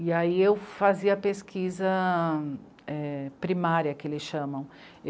E aí eu fazia a pesquisa primária, que eles chamam.